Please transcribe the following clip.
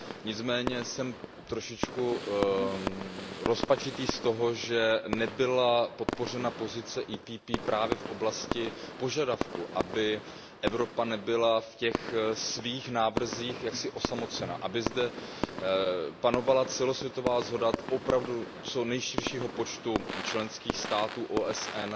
Nicméně jsem trochu rozpačitý z toho, že nebyla podpořena pozice PPE právě v oblasti požadavku, aby Evropa nebyla v těch svých návrzích osamocená, aby zde panovala celosvětová shoda opravdu co nejširšího počtu členských států OSN